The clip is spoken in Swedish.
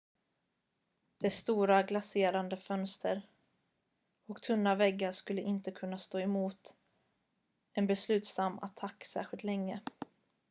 dess stora glaserade fönster och tunna väggar skulle inte ha kunnat stå emot en beslutsam attack särskilt länge